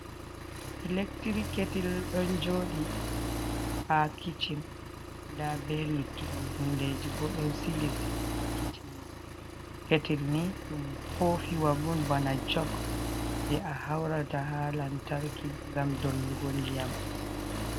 Electri ketel ɗon joɗi ha kicin, nda ɓe luttuɗum hundeje bo ɗon sili sili, ha ketel ni ɗum kofi wa on bana jok je a haurata ha lantarki ngam dollugo ndiyam.